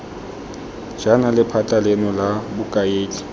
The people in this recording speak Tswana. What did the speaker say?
jaana lephata leno la bokaedi